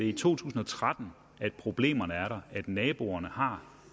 i to tusind og tretten at problemerne er der og naboerne har